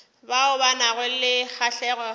bao ba nago le kgahlego